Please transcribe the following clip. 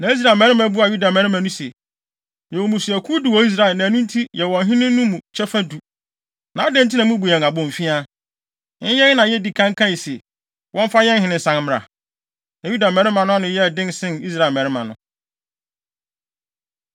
Na Israel mmarima buaa Yuda mmarima no se, “Yɛwɔ mmusuakuw du wɔ Israel na ɛno nti yɛwɔ ɔhene no mu kyɛfa du. Na adɛn nti na mubu yɛn abomfiaa? Ɛnyɛ yɛn na yedii kan kae se, wɔmfa yɛn hene nsan mmra?” Na Yuda mmarima no ano yɛɛ den sen Israel mmarima no.